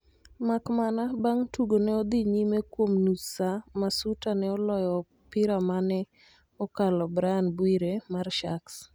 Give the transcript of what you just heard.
makmana, bang tugo ne odhi nyime kuom nus saar Masuta neolyo opiramane okalo Brian Bwire mar Sharks